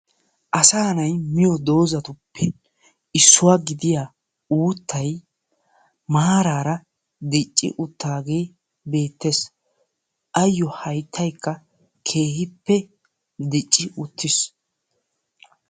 Asaa na'ayi miyo doozatuppe issuwa gidiya uuttayi maaraara dicci uttaagee beettes. Ayyo hayttaykka keehippe dicci uttis.